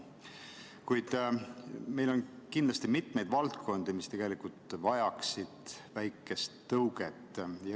Kuid meil on kindlasti mitmeid valdkondi, mis tegelikult vajaksid väikest tõuget.